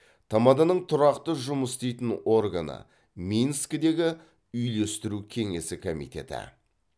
тмд ның тұрақты жұмыс істейтін органы минскідегі үйлестіру кеңесі комитеті